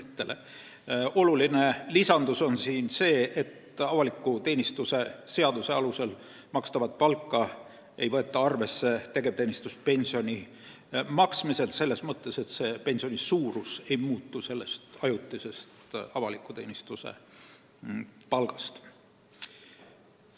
Tähtis lisandus on see, et avaliku teenistuse seaduse alusel makstavat palka ei võeta arvesse tegevteenistuspensioni maksmisel, selles mõttes, et pensioni suurus ajutise avaliku teenistuse palga tõttu ei muutu.